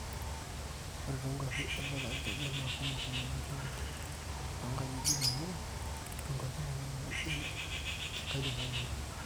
ore toonkuapi embata irkejek naa kumok nena teenti toonkajijik amu inkuapi nena naajing enkajang'ani oleng